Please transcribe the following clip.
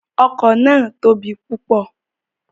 Oko naa tobi pupọ